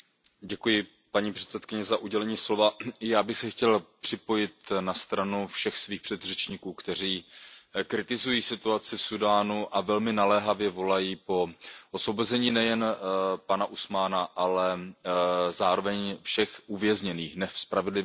Paní předsedající, já bych se chtěl připojit na stranu všech svých předřečníků, kteří kritizují situaci v Súdánu a velmi naléhavě volají po osvobození nejen pana Usmána, ale zároveň všech uvězněných a nespravedlivě mučených.